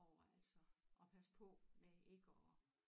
Over altså at passe på med ikke at